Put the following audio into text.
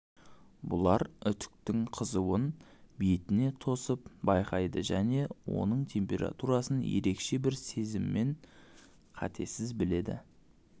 бұлар үтіктің қызуын бетіне тосып байқайды және оның температурасын ерекше бір сезіммен қатесіз біледі